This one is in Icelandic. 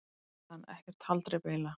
spurði hann: Ekkert haldreipi eiginlega.